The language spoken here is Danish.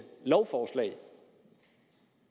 lovforslag